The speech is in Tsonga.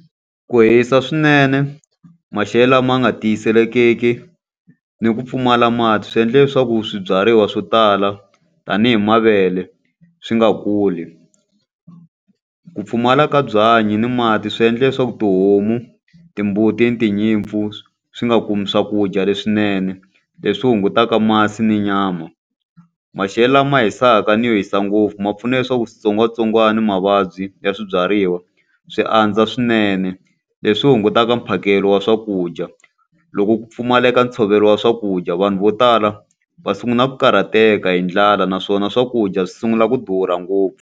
Ku hisa swinene, maxelo lama nga tiyiselekeki, ni ku pfumala mati swi endle leswaku swibyariwa swo tala tanihi mavele, swi nga kuli. Ku pfumala ka byanyi ni mati swi endla leswaku tihomu, timbuti, tinyimpfu, swi nga kumi swakudya leswinene. Leswi hungutaka masi na nyama. Maxelo lama hisaka ni yo hisa ngopfu ma pfuna leswaku switsongwatsongwana ni mavabyi ya swibyariwa swi andza swinene, leswi hungutaka mphakelo wa swakudya. Loko ku pfumaleka ntshovelo wa swakudya vanhu vo tala va sungula ku karhateka hi ndlala, naswona swakudya swi sungula ku durha ngopfu.